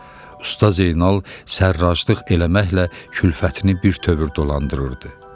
Usta Zeynal sərraclıq eləməklə külfətini birtəhər dolandırırdı.